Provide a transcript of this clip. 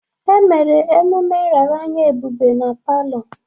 Emere mmemme nraranye Ebube na palọ.